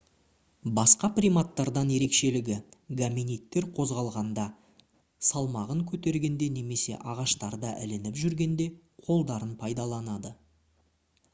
басқа приматтардан ерекшелігі гоминидтер қозғалғанда салмағын көтергенде немесе ағаштарда ілініп жүргенде қолдарын пайдаланады